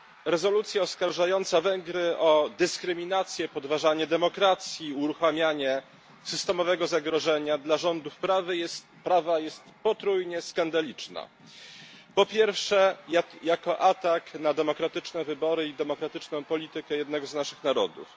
Rezolucja oskarżająca Węgry o dyskryminację, podważanie demokracji, uruchamianie systemowego zagrożenia dla rządów prawa jest potrójnie skandaliczna. Po pierwsze, jako atak na demokratyczne wybory i demokratyczną politykę jednego z naszych narodów.